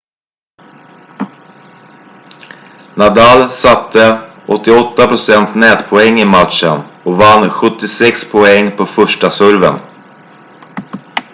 nadal satte 88 % nätpoäng i matchen och vann 76 poäng på första serven